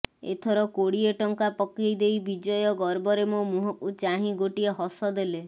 ଏଥର କୋଡ଼ିଏ ଟଙ୍କା ପକେଇ ଦେଇ ବିଜୟ ଗର୍ବରେ ମୋ ମୁହଁକୁ ଚାହିଁ ଗୋଟିଏ ହସ ଦେଲେ